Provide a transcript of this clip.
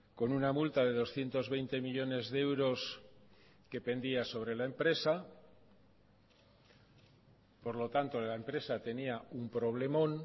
con una multa de doscientos veinte millónes de euros que pendía sobre la empresa por lo tanto la empresa tenía un problemón